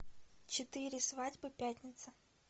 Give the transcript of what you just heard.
четыре свадьбы пятница